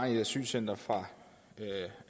i asylcentre fra